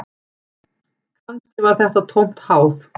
Kannski var þetta tómt háð